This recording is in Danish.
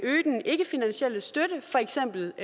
øge den ikkefinansielle støtte for eksempel